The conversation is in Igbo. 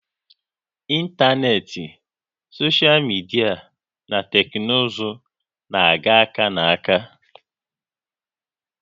Ịntanetị, soshal midia na teknụzụ na-aga aka na aka